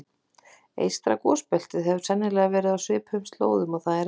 Eystra gosbeltið hefur sennilega verið á svipuðum slóðum og það er enn.